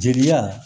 Jeliya